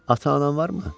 Ata-anan varmı?